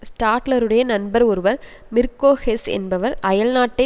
ஸ்டாட்லருடைய நண்பர் ஒருவர் Mirko Hess என்பவர் அயல்நாட்டை